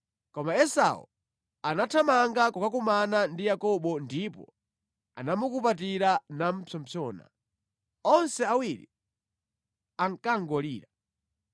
Koma Esau anathamanga kukakumana ndi Yakobo ndipo anamukupatira namupsompsona. Onse awiri ankangolira.